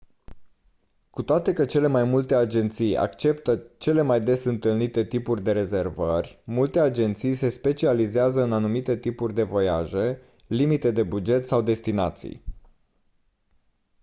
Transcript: cu toate că cele mai multe agenții acceptă cele mai des întâlnite tipuri de rezervări multe agenții se specializează în anumite tipuri de voiaje limite de buget sau destinații